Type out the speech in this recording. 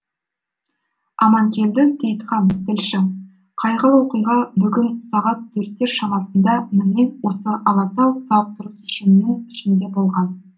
аманкелді сейтхан тілші қайғылы оқиға бүгін сағат төрттер шамасында міне осы алатау сауықтыру кешенінің ішінде болған